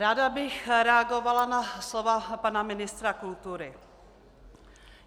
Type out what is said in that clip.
Ráda bych reagovala na slova pana ministra kultury.